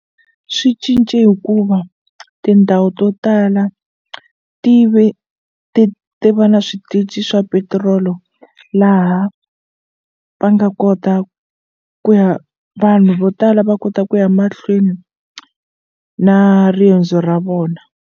Swi cince hikuva tindhawu to tala ti ve ti ti va na switichi swa petirolo laha va nga kota ku ya vanhu vo tala va kota ku ya mahlweni na riendzo ra vona.